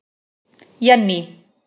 Jenný